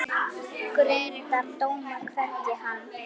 Grundar dóma, hvergi hann